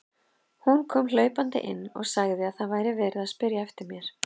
Hún kom hlaupandi inn og sagði að það væri verið að spyrja eftir mér.